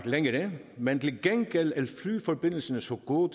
længere men til gengæld er flyforbindelserne så gode